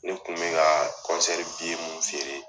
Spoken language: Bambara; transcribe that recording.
Ne kun bɛ ka kɔnsɛri biye mun feere